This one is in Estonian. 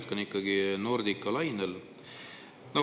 Ma jätkan ikkagi Nordica lainel.